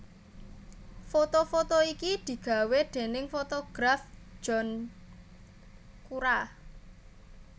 Foto foto iki digawé déning fotograf John Cura